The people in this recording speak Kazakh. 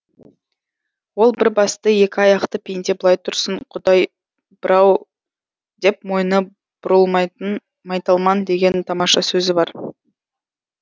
ол бір басты екі аяқты пенде былай тұрсын құдай бір ау деп мойны бұрылмайтын майталман деген тамаша сөзі бар